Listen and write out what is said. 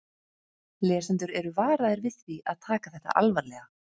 Lesendur eru varaðir við því að taka þetta alvarlega.